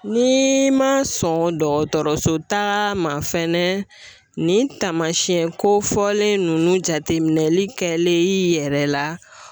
Ni ma sɔn dɔgɔtɔrɔso taa ma fɛnɛ, nin taamasiyɛn kofɔlen nunnu jateminɛli kɛlen i yɛrɛ la